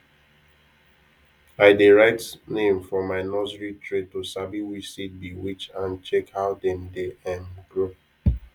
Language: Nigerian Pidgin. i dey write name for my nursery tray to sabi which seed be which and check how dem dey um grow